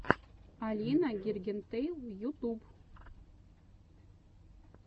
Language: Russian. алина гингертэйл ютюб